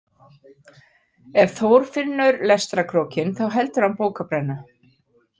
Ef Þór finnur lestrarkrókinn þá heldur hann bókabrennu